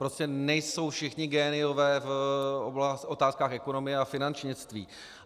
Prostě nejsou všichni géniové v otázkách ekonomie a finančnictví.